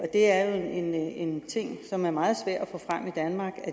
det er en ting som er meget svær at få frem i danmark